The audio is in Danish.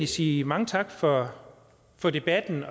sige mange tak for for debatten